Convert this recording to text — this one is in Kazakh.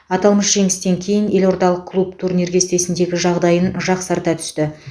аталмыш жеңістен кейін елордалық клуб турнир кестесіндегі жағдайын жақсарта түсті